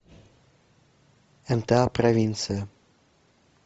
мта провинция